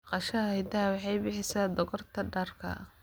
Dhaqashada idaha waxay bixisaa dhogorta dharka.